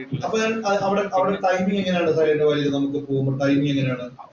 അപ്പൊ ഞാന്‍ അവിടെ ടൈമിങ്ങ് എങ്ങനെയാണ്? സൈലന്‍റ് വാലിയില്‍ പോകുമ്പോ ടൈമിങ്ങ് എങ്ങനെയാണ്?